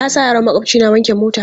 Na sa yaron maƙwabci na wanke mota.